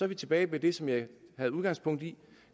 vi tilbage ved det som jeg tog udgangspunkt i